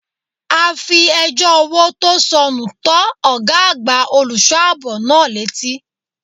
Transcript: A fi ẹjọ́ owó tó sọnù tó ọgá àgbà olùṣọ́ àbò náà létí.